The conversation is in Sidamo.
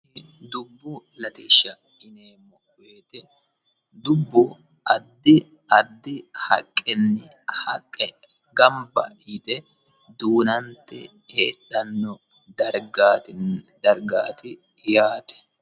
dubbu lateshsha yineemo woyiti dubbu addi addi haqqenni haqqe gamba yite duunante heedhanno dargaati yaate